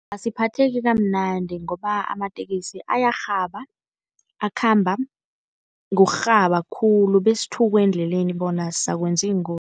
Asiphatheki kamnandi ngoba amateksi ayarhaba, akhamba ngokurhaba khulu besithukwe endleleni bona sizakwenza iingozi.